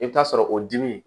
I bɛ taa sɔrɔ o dimi